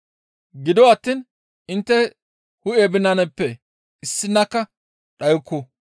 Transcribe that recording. Gido attiin intte hu7e binanatappe issinakka dhayukku.